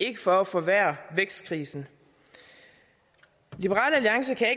ikke for at forværre vækstkrisen liberal alliance kan